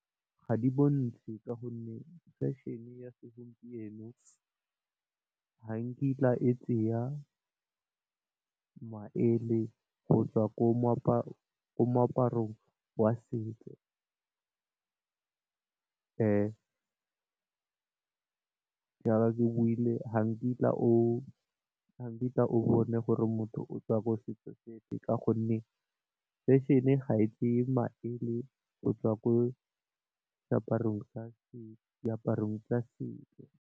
Ga di bontshe ka gonne fešhene ya segompieno, ga nkitla e tseya, maele go tswa ko moaparong wa setso. Jaaka ke buile ga nkitla o bone gore motho o tswa ko setso sefe ka gonne fešhene ga e tseye maele go tswa ko diaparong tsa setso.